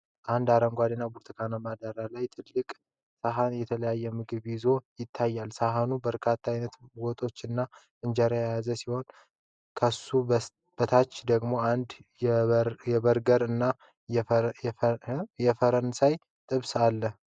ደማቅ አረንጓዴ እና ብርቱካንማ ዳራ ላይ አንድ ትልቅ ሳህን የተለያየ ምግብ ይዞ ይታያል። ሳህኑ በርካታ ዓይነት ወጦች እና እንጀራዎችን የያዘ ሲሆን፣ ከሱ በታች ደግሞ አንድ የበርገር እና የፈረንሳይ ጥብስ አለ።